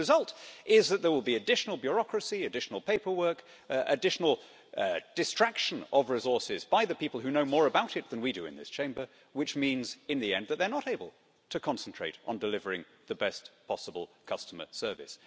The result is that there will be additional bureaucracy, additional paperwork, additional distraction of resources by the people who know more about it than we do in this Chamber, which means in the end that they are not able to concentrate on delivering the best possible customer service.